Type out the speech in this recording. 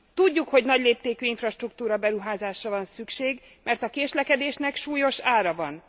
Tudjuk, hogy nagyléptékű infrastruktúra beruházásra van szükség, mert a késlekedésnek súlyos ára van.